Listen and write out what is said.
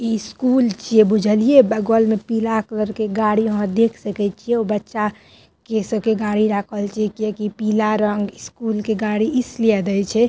ई school छे बुझलिये बगल में पीला कलर के गाड़ी वहाँ देख सकई छे उ बच्चा के सब के गाड़ी राखल छे के की पीला रंग के स्कूल के गाड़ी इसलिए याद आई छे --